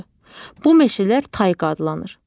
Bu meşələr tayqa adlanır.